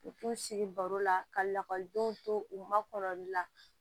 K'u sigi baro la ka lakɔlidenw to u ma kɔlɔli la